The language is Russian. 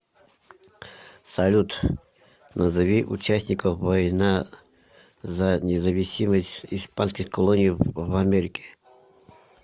салют назови участников война за независимость испанских колоний в америке